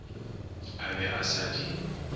a be a sa di